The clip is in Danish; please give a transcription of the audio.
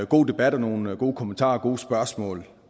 god debat og nogle gode kommentarer og gode spørgsmål